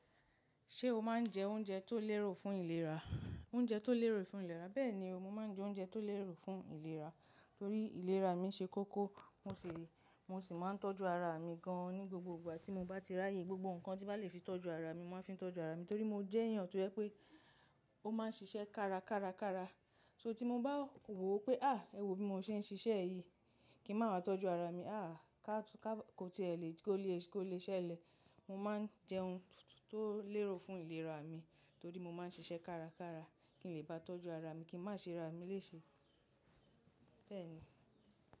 Ṣé o máa ń jẹ oúnjẹ tó lérò fún ìlera? Oúnjẹ tó lérò fún ìlera. Bẹ́ẹ̀ni, mo máa ń jẹ oúnjẹ tó lérò fún ìlera, torí ìlera mi ṣe kókó, mo sì, mo sì máa ń tọ́jú ara mi gan-an ní gbogbo ìgbà tí mo bá ti ráyè. Gbogbo nǹkan tí bá lè fi tọ́jú ara mi, mo máa fi tọ́jú ara mi, torí mo jẹ́ èèyàn tó yẹ pé ó máa ń ṣiṣẹ́ kárakára. So tí mo bá wò ó pé, á, ẹ wo bí mo ṣe ń ṣiṣẹ́ yìí, kí màá wá tọ́jú ara mi, á, ká ti ẹ lẹ̀, kó lè ṣe ẹ lẹ̀. Mo máa ń jẹun tó lérò fún ìlera mi, torí mo máa ń ṣiṣẹ́ kárakára kí n lè bá tọ́jú ara mi kí má ṣe rami léṣe. Bẹ́ẹ̀ ni.